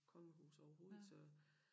Kongehus overhovedet så